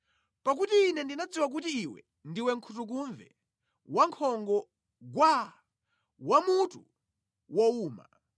Pakuti Ine ndinadziwa kuti iwe ndiwe nkhutukumve wa nkhongo gwaa, wa mutu wowuma.